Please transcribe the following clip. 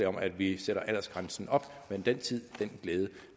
om at vi sætter aldersgrænsen op men den tid den glæde